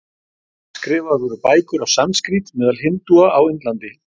Skrifaðar voru bækur á sanskrít meðal hindúa á Indlandi.